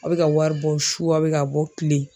Aw bɛ ka wari bɔ su a bɛ ka bɔ kile.